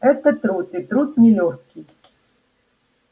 это труд и труд нелёгкий